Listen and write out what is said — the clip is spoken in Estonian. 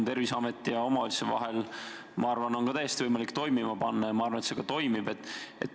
Terviseameti ja omavalitsuse vaheline kommunikatsioon on samuti võimalik toimima panna, ja ma arvan, et see toimibki.